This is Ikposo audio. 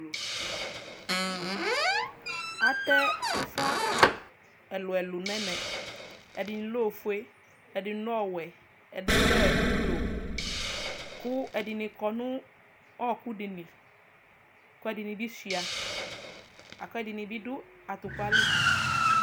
atɛ ufa ɛlu ɛlu n'ɛmɛ ɛdini lɛ ofue ɛdini lɛ ɔwɛ ɛdini lɛ ublɔ kò ɛdini kɔ no ɔku di li kò ɛdini bi sua lako ɛdini bi do atupa li